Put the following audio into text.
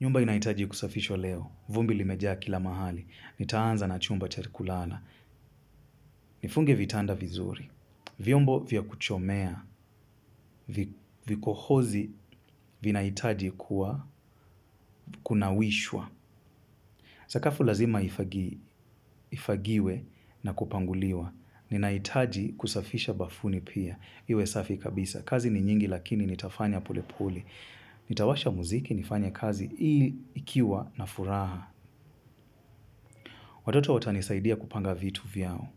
Nyumba inaitaji kusafishwa leo. Vumbi limejaa kila mahali. Nitaanza na chumba cha kulala. Nifunge vitanda vizuri. Vyombo vya kuchomea. Vikohozi vinahitaji kunawishwa. Sakafu lazima ifagiwe na kupanguliwa. Ninahitaji kusafisha bafuni pia. Iwe safi kabisa. Kazi ni nyingi lakini nitafanya polepole. Nitawasha muziki, nifanye kazi hii nikiwa na furaha. Watoto watanisaidia kupanga vitu vyao.